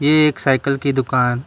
ये एक साइकल की दुकान--